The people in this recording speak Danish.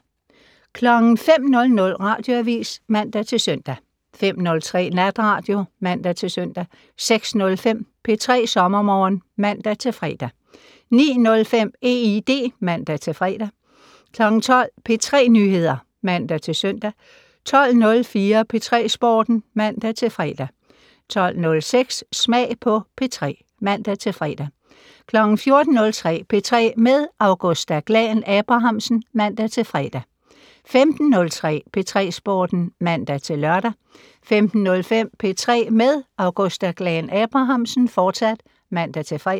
05:00: Radioavis (man-søn) 05:03: Natradio (man-søn) 06:05: P3 SommerMorgen (man-fre) 09:05: EID (man-fre) 12:00: P3 Nyheder (man-søn) 12:04: P3 Sporten (man-fre) 12:06: Smag på P3 (man-fre) 14:03: P3 med Augusta Glahn-Abrahamsen (man-fre) 15:03: P3 Sporten (man-lør) 15:05: P3 med Augusta Glahn-Abrahamsen, fortsat (man-fre)